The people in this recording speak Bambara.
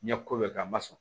N ye ko bɛɛ kɛ a ma sɔn